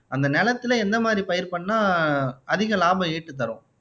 அந்த நெலத்துல எந்த மாதிரி பயிர் பண்ணா அதிக லாபம் ஈட்டு தரும்